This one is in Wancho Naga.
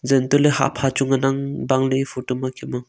jen toh ley hahpha chu ngan ang bang ley eya photo ma kem ang.